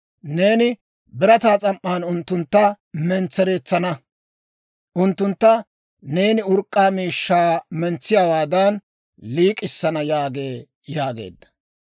Neeni birataa s'am"an unttuntta mentsereetsana; Unttuntta neeni urk'k'aa miishshaa mentsiyaawaadan liik'issana› yaagee» yaageedda.